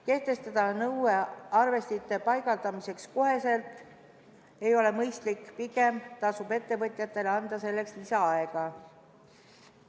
Kehtestada nõue paigaldada arvestid kohe ei ole mõistlik, pigem tasub ettevõtjatele anda selleks lisaaega.